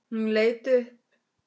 Hún leit upp.